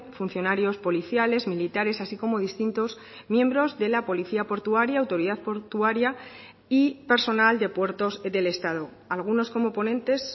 funcionarios policiales militares así como distintos miembros de la policía portuaria autoridad portuaria y personal de puertos del estado algunos como ponentes